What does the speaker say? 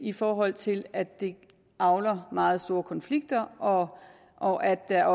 i forhold til at det avler meget store konflikter og og at der